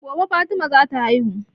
Gobe fatima za ta haihu